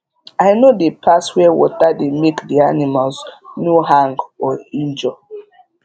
i no dey pass where water dey make d animals no hang or injure